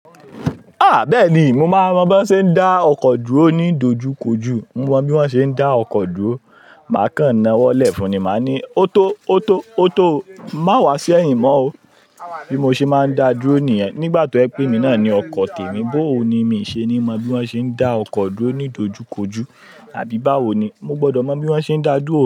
Ah! Bẹ́ẹ̀ni, mo máa mọ bí wọ́n ṣe ń dá ọkọ̀ dúró ní dojúkojú. Mo mọ bí wọ́n ṣe ń dá ọkọ̀ dúró. Màá kàn n ná wọlé fun, màá ní, "Ó tó, ó tó, ó tó o. Má wá sí ẹ̀yìn mọ́ o." Bí mo ṣe máa ń da dúró nìyẹn. Nígbà tí o jepè emi náà ni ọkọ̀ tèmi. Boo ni, mi ṣe ní mọ bí wọ́n ṣe ń dá ọkọ̀ dúró ní dojúkojú. Àbí báwo ni. Mo gbọdọ mọ bí wọ́n ṣe ń dá dúró.